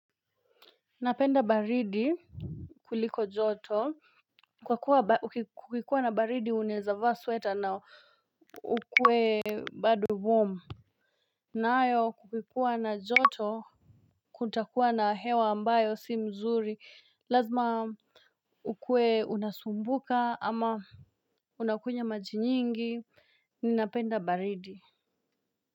Napenda baridi kuliko joto. Kwa kuwa kukikuwa na baridi unaweza vaa sweater na ukuwe bado warm. Nayo kukikuwa na joto kutakuwa na hewa ambayo si mzuri lazima ukuwe unasumbuka ama unakunywa maji nyingi ninapenda baridi.